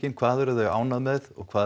hvað eru þau ánægð með og hvað